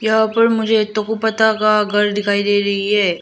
यहां पर मुझे दो पत्ता का घर दिखाई दे रही है।